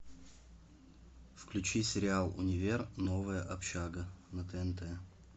включи сериал универ новая общага на тнт